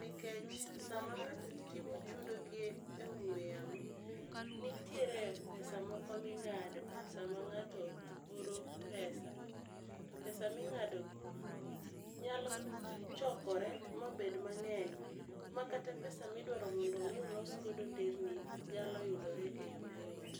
nikech sama ng'ato timo chudo gi e ong'we yamo, nitiere pesa moko ming'ado sama ng'ato oro pesa to pesa ming'adogi nyalo chokore mabed mang'eny ma kata pesa midwaro mondo omi olos godo nderni nyalo yudore e yo mayot.